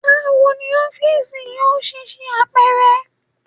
Bawo ni ọfiisi yoo ṣe ṣe apẹrẹ?